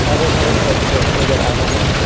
हरे भरे पेड़ पौधे नजर आ रहे है।